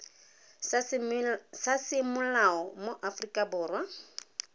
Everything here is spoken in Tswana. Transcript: sa semolao mo aforika borwa